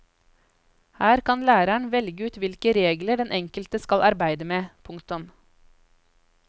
Her kan læreren velge ut hvilke regler den enkelte skal arbeide med. punktum